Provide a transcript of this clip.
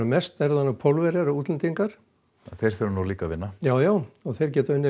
mest eru það Pólverjar og útlendingar þeir þurfa nú líka að vinna já já og þeir geta